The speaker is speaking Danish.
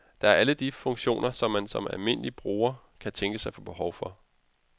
Der er alle de funktioner man som almindelige bruger kan tænkes at få behov for.